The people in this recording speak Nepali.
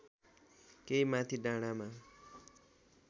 केही माथि डाँडामा